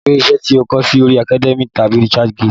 Gbé iṣẹ́ tí ó kọ sí orí Academia tàbí Research gate!